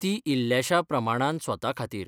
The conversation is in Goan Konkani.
तीं इल्ल्याशा प्रमाणान स्वता खातीर